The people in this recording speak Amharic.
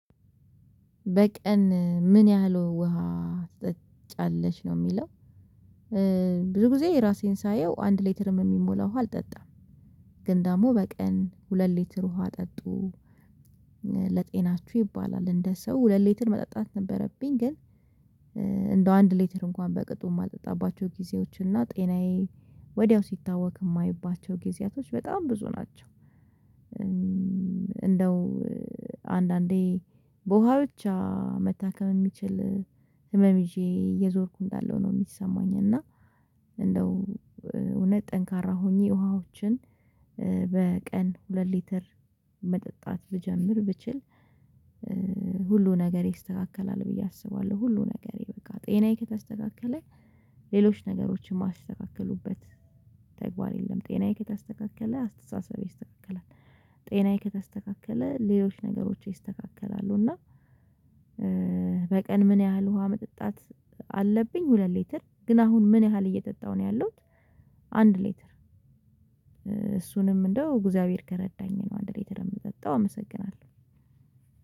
በቀን ምን ያህል ውሃ ስጠጫለች? ነው የሚለው ብዙ ጊዜ ራሴን ሳየው አንድ ሌትርም የሚሞላው ውሃ አልጠጣም ግን ደግሞ በቀን ሁለት ሌትር ውሃ ጠጡ ለጤናችሁ ይባላል እንደ ሰው ሁለት ሌትር መጠጣት ነበረብኝ ግን እንደው አንድ ሌተር እንኳን በቅጡ የማልጠጣባቸው ጊዜዎች እና ጤናዬ ወዲያው ሲታወቅ የማይባቸው ጊዜያቶች በጣም ብዙ ናቸው። እንደው አንዳንዴ በውሃ ብቻ መታከም የሚችል ህመም ይዤ እየዞርኩ እንዳለው ነው የሚሰማኝ እና እንደው እውነት ጠንካራ ሆኜ ውሃዎችን በቀን ሁለት ሊትር መጠጣት ብጀምር ብችል ሁሉ ነገር ይስተካከላል ብዬ አስባለሁ ሁሉ ነገር የበቃ ጤናዬ ከተስተካከለ ሌሎች ነገሮችን ማይስተካከሉበት ተግባር የለም ጤናዬ ከተስተካከለ አስተሳሰቤ ይስተካከላል፣ ጤናዬ ከተስተካከለ ሌሎች ነገሮች ይስተካከላሉ እና በቀን ምን ያህል ውሃ መጠጣት አለብኝ ሁለት ሊትር ግን አሁን ምን ያህል እየጠጣሁ ነው ያለሁት አንድ ሌተር እሱንም እንደው እግዚአብሔር ከረዳኝ ነው አንድ ሌተር የምጠጣው አመሰግናለሁ።